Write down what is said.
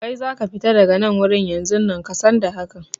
Kai, za ka fita daga nan wurin yanzun nan, ka san da haka!